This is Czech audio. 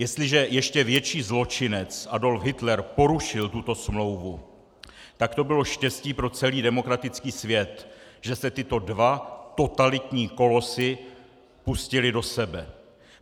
Jestliže ještě větší zločinec Adolf Hitler porušil tuto smlouvu, tak to bylo štěstí pro celý demokratický svět, že se tyto dva totalitní kolosy pustily do sebe.